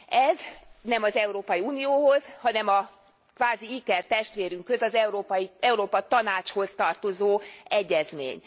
Ez nem az Európai Unióhoz, hanem a kvázi ikertestvérünkhöz, az Európa Tanácshoz tartozó egyezmény.